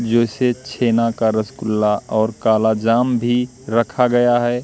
जैसे छेना का रसगुल्ला और काला जाम भी रखा गया है।